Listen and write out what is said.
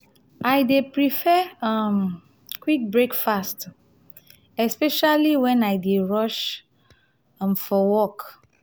i dey prefer um quick breakfast um especially when i dey rush um for work.